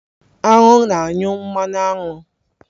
Aṅụ na-anyụ mmanụ aṅụ.